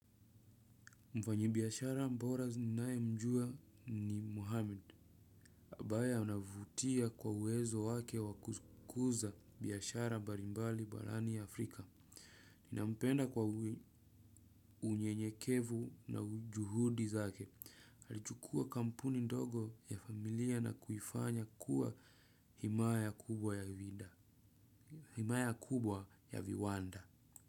Mfanyibiashara bora ninayemjua ni Muhammad. Ambaye anavutia kwa uwezo wake wa kukuza biashara mbalimbali barani Afrika. Ninampenda kwa unyenyekevu na juhudi zake. Alichukua kampuni ndogo ya familia na kuifanya kuwa himaya himaya kubwa ya viwanda.